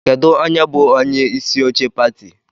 Kedu onye bụ onyeisi oche pati?